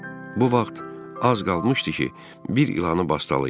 Bu vaxt az qalmışdı ki, bir ilanı bastalayım.